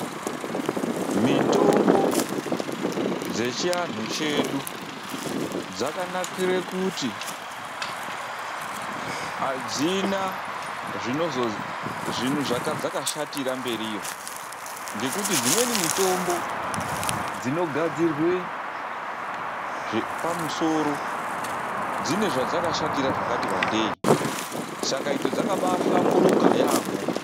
Mitombo dzechianhu chedu dzakanakira kuti adzina chadzakashatira mberiyo. Ngekuti dzimweni mitombo dzinogadzirwa zvepamusoro dzine zvadzakashatira zvakati wandei, saka idzo dzakabashamburuka yamho.